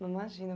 Não, imagina.